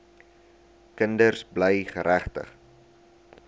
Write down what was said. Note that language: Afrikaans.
kinders bly geregtig